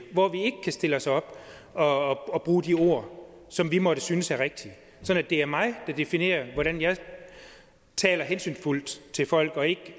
hvor vi ikke kan stille os op og og bruge de ord som vi måtte synes er rigtige sådan at det er mig der definerer hvordan jeg taler hensynsfuldt til folk og ikke